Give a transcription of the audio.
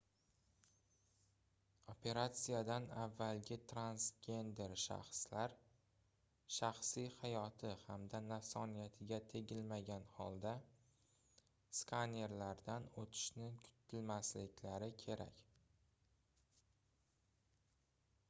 operatsiyadan avvalgi transgender shaxslar shaxsiy hayoti hamda nafsoniyatiga tegilmagan holda skanerlardan oʻtishni kutmasliklari kerak